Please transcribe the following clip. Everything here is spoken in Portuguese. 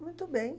Muito bem.